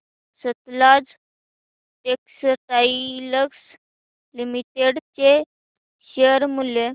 Sutlej textiles limited चे share मूल्य